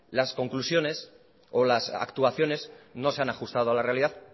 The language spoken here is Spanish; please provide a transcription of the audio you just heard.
las conclusiones o las actuaciones no se han ajustado a la realidad